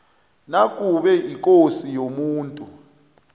nakube ikosi yomuntu